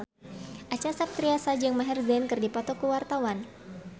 Acha Septriasa jeung Maher Zein keur dipoto ku wartawan